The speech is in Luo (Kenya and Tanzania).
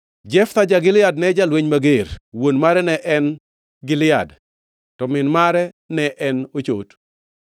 Jeftha ja-Gilead ne jalweny mager. Wuon mare ne en Gilead, to min mare ne en ochot.